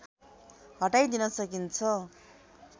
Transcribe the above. हटाइदिन सकिन्छ